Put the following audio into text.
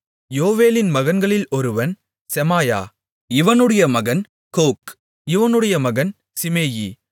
யோவேலின் மகன்களில் ஒருவன் செமாயா இவனுடைய மகன் கோக் இவனுடைய மகன் சிமேயி